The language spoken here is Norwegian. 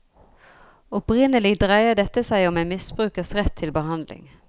Opprinnelig dreide dette seg om en misbrukers rett til behandling.